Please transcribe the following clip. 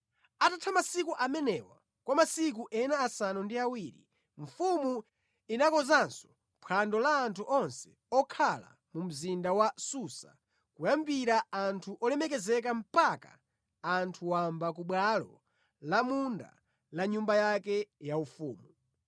Atatha masiku amenewa, kwa masiku ena asanu ndi awiri mfumu inakonzanso phwando la anthu onse okhala mu mzinda wa Susa kuyambira anthu olemekezeka mpaka anthu wamba ku bwalo la munda la nyumba yake yaufumu.